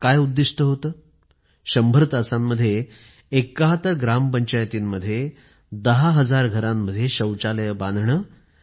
आणि उद्दिष्ट काय होत १०० तासांमध्ये ७१ ग्रामपंचायतींमध्ये १० हजार घरांमध्ये शौचालये बांधणं